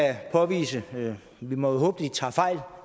påvise vi må håbe de tager fejl